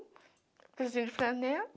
Blusinho de flanela.